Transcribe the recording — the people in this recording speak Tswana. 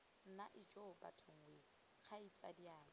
nna ijoo bathong wee kgaitsadiake